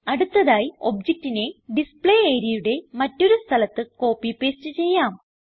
അടുത്തതായി ഒബ്ജക്റ്റിനെ ഡിസ്പ്ളേ areaയുടെ മറ്റൊരു സ്ഥലത്ത് കോപ്പി പാസ്തെ ചെയ്യാം